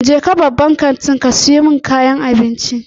Jeka babban kantin ka siyo kayan abinci.